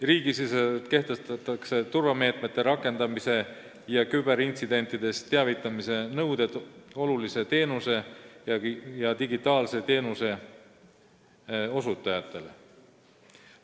Riigisiseselt kehtestatakse turvameetmete rakendamise ja küberintsidentidest teavitamise nõuded olulise teenuse ja digitaalse teenuse osutajatele.